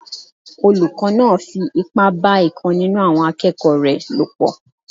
Olùkọ́ náà fi ipá bá ìkan nínú àwọn akẹ́kọ̀ọ́ rẹ̀ lò pọ̀